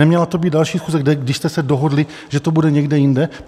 Neměla to být další schůze, když jste se dohodli, že to bude někde jinde?